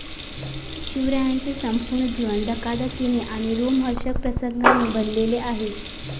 शिवरायांचे संपूर्ण जीवन धकाधकीने आणि रोमहर्षक प्रसंगांनी भरलेले आहे.